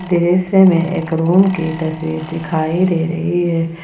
दृश्य में एक रूम की तस्वीर दिखाई दे रही है।